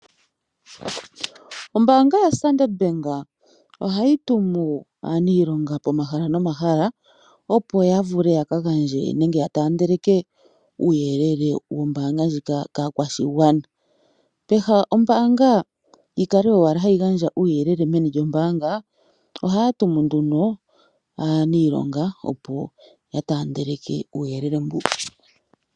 Ombaanga yaStandard Bank ohayi tumu aaniilonga pomahala nomahala, opo ya vule ya ka gandje nenge ya taandeleke uuyelele wombaanga ndjika kaakwashigwana. Peha lyombaanga ndjika yi kale owala hayi gandja uuyelele meni lyombaanga ohaya tumu nduno aaniilonga, opo ya taandeleke uuyelele mbuka.